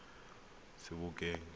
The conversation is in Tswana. sebokeng